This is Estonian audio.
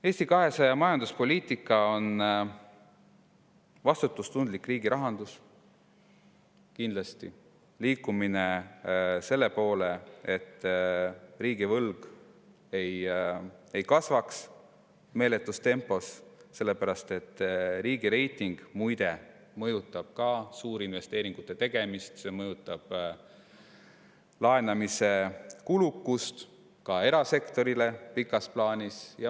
Eesti 200 majanduspoliitika tähendab vastutustundlikku riigirahandust, kindlasti liikumist selle poole, et riigivõlg ei kasvaks meeletus tempos, sest riigireiting, muide, mõjutab ka suurinvesteeringute tegemist, mõjutab laenamise kulukust pikas plaanis ka erasektoris.